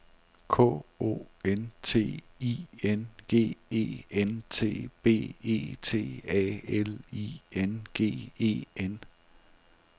K O N T I N G E N T B E T A L I N G E N